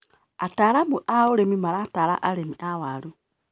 Ataramu a ũrĩmi maratara arĩmi a waru.